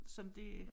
Som det